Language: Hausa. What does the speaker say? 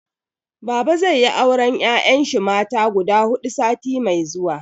Baba zai yi auren 'ya'yan shi mata guda hudu sati mai zuwa.